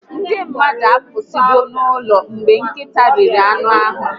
Ndị mmadụ apụsigo n'ụlọ mgbe nkịta riri anụ ahụ